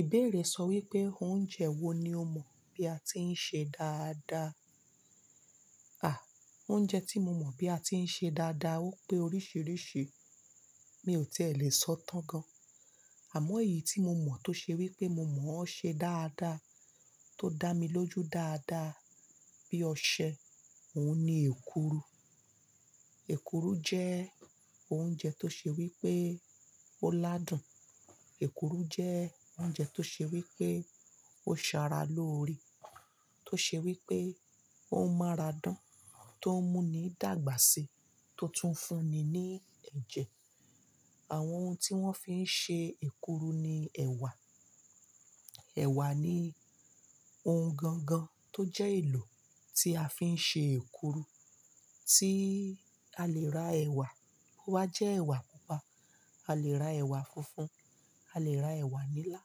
Ìbéèrè sọ wípé, oúnjẹ wo ni o mọ̀ bí a ti ń ṣe dáadáa? À, oúnjẹ tí mo mọ̀ bí a ti ń ṣe dáadáa, ó pé oríṣiríṣi. Mi ò tí è lè sọ tán gan. Àmọ́ èyí tí mo mọ̀ tó ṣe wípé mo mọ̀ ó ṣe dáadáa, tó dá mi lójú dáadáa, bí ọṣẹ, òun ni èkuru. Èkuru jẹ́ oúnjẹ tó ṣe wípé ó ládùn. Èkuru jẹ́ oúnjẹ tó ṣe wípé ó sara lóore. Tó ṣe wípé ó máa radán, tó ń mú ni dàgbà sí, tó tún fún ni ní ẹ̀jẹ̀. Àwọn ohun tí wón fi ń ṣe èkuru ni ẹ̀wà. Ẹ̀wà ni ohun gangan tó jẹ́ èlò tí a fi ń ṣe èkuru. Tí a lè ra ẹ̀wà bóyá jẹ́ ẹ̀wà pupa, a lè ra ẹ̀wà funfun, a lè ra ẹ̀wà nílá,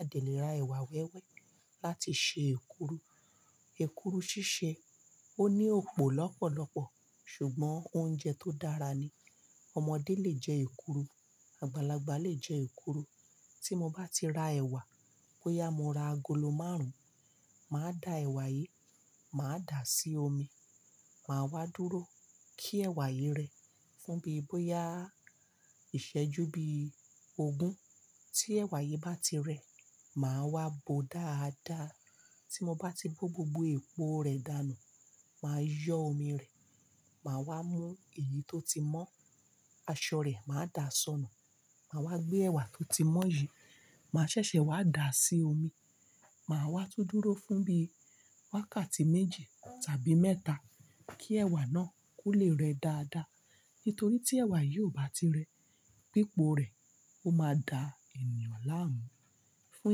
a lè lè ra ẹ̀wà wẹ́wẹ́ láti ṣe èkuru. Èkuru ṣíṣe, ó ní òpó lọ́pọ̀lọ́pọ̀, ṣùgbón oúnjẹ tó dára ni. Ọmọdé lè jẹ èkuru, àgbàlagbà lè jẹ èkuru. Tí mo bá ti ra ẹ̀wà, bóyá mo ra agolo márùn-ún, màá da ẹ̀wà yìí, màá dàá sí omi, màá wá dúró kí ẹ̀wà yìí rẹ fún bí bóyá ìṣẹ́jú bí ogún. Tí ẹ̀wà yìí bá ti rẹ, màá wá bò ó dáadáa. Tí mo bá ti bó gbogbo epo rẹ̀ dànù, màá yọ́ omi rẹ̀, màá wá mú èyí tó ti mọ́, aṣọ rẹ̀, màá dà á sọnù. Màá wá gbé ẹ̀wà tó ti mọ́ yìí, màá ṣẹ̀ṣẹ̀ wá dà á sí omi. Màá wá tú dúró fún bí wákàtí méji tàbí mẹ́ta kí ẹ̀wà náà kó lè rẹ dáadáa. Nítorí tí ẹ̀wà yìí ò bá ti rẹ, pípo rẹ̀ ó máa da ènìyàn láàmú. Fún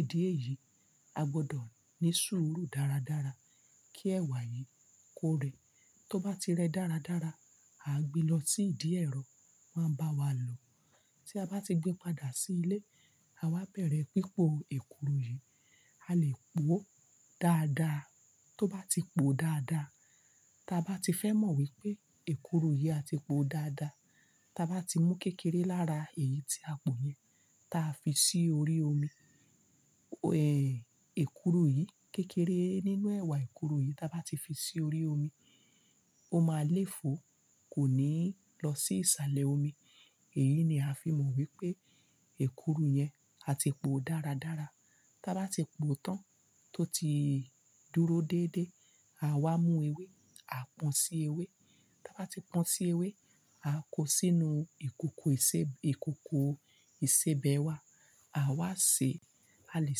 ìdí èyí, a gbọ́dọ̀ ní sùúrù dáradára kí ẹ̀wà yìí kó rẹ. Tó bá ti rẹ dáradára, à gbe lọ sí ìdí ẹ̀rọ, máa bá wa lò. Tí a bá ti gbe padà sí ilé, àwa bẹ̀rẹ̀ pípo èkuru yìí. A lè po ó dáadáa. Tó bá ti po dáadáa, tí a bá ti fẹ́ mọ̀ wípé èkuru yìí a ti po dáadáa, tí a bá ti mú kékeré lára èyí tí a po yẹn, ta fi sí orí omi, ẹ̀, èkuru yìí, kékeré nínú ẹ̀wà èkuru yìí tí a bá ti fi sí orí omi, ó máa léfo kò ní lọ sí ìsàlẹ̀ omi. Èyí ni a fi mọ̀ wípé èkuru yẹn a ti po dáradára. Tí a bá ti po tán, tó ti dúró déédé, à wa mú ewé, a pọ́n sí ewé. Tí a bá ti pọ́n sí ewé, a ko sínú ìkòkò ìṣe, ìkòkò ìṣèbẹwà. À wá sèé, a lè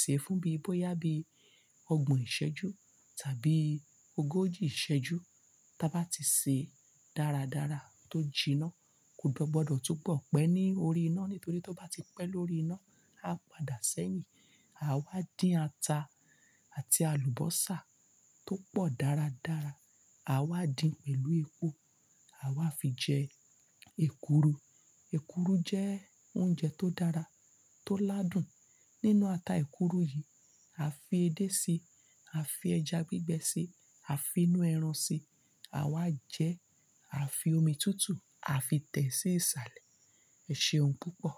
sèé fún bí bóyá bí ọgbọ̀n ìṣẹ́jú tàbí ogójì ìṣẹ́jú. Tí a bá ti sèé dáradára tó jiná, kò gbọdọ̀ túbọ̀ pẹ́ ní orí iná, nítorí tí ó bá ti pẹ́ lórí iná, a padà sẹ́yìn. À wá dín ata àti àlùbósà tó pọ̀ dáradára, à wá dín pẹ̀lú epo. À wá fi jẹ èkuru. Èkuru jẹ́ oúnjẹ tó dára, tó ládùn. Nínú ata èkuru yìí, a fi edé síi, a fi ẹja gbígbẹ síi, a fi inú ẹran síi. À wá jẹ, a fi omi tútù, a fi tẹ̀ sí ìsàlẹ̀. Ẹ ṣe ohun púpọ̀.